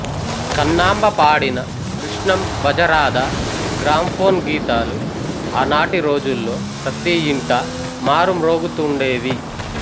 కన్నాంబ పాడిన కృష్ణం భజరాధా గ్రాంఫోన్ గీతాలు ఆనాటి రోజుల్లో ప్రతియింటా మారుమ్రోగుతుండేవి